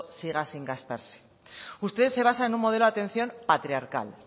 siga sin gastarse usted se basa en un modelo de atención patriarcal